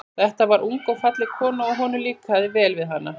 Þetta var ung og falleg kona, og honum líkaði vel við hana.